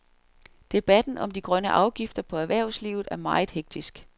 Debatten om de grønne afgifter på erhvervslivet er meget hektisk.